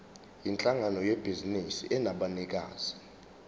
yinhlangano yebhizinisi enabanikazi